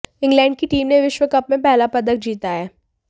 England की team ने विश्व कप में पहला पदक जीता है